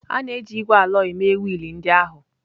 A na-eji ígwè alọyị mee wiil ndị ahụ.